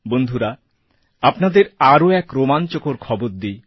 বন্ধুরা আপনাদের আরও এক রোমাঞ্চকর খবর দিই